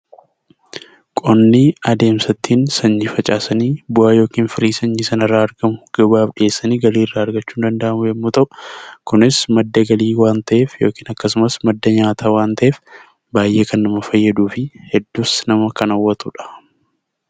Qonni adeemsa itti sanyii facaasanii bu'aa yookiin firii sanyii sanarraa argamu gabaaf geessanii galii irraa argachuun danda'amu yoo ta'u, kunis madda galii waan ta'eef yookiin akkasumas madda nyaataa waan ta'eef, baay'ee kan nama fayyaduu fi hedduus nama kan hawwatudha.